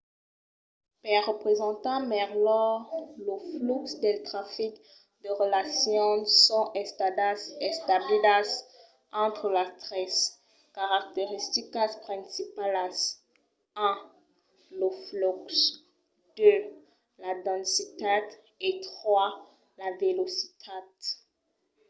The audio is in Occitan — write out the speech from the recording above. per representar melhor lo flux del trafic de relacions son estadas establidas entre las tres caracteristicas principalas: 1 lo flux 2 la densitat e 3 la velocitat